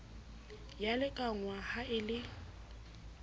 ya lekanngwa ha e le